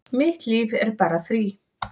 Mitt líf er bara frí